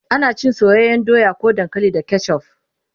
ana cin soyayyan doya ko dankali da ketchuf